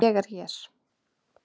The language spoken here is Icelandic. Ég er hér.